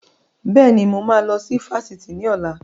Bẹ́ẹ̀ni, mo máa lọ sí Fáṣítì ni ọ̀la.